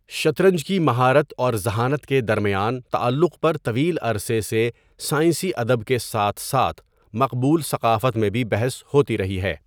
شطرنج کی مہارت اور ذہانت کے درمیان تعلق پر طویل عرصے سے سائنسی ادب کے ساتھ ساتھ مقبول ثقافت میں بھی بحث ہوتی رہی ہے۔